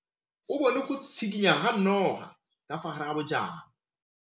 O bone go tshikinya ga noga ka fa gare ga majang.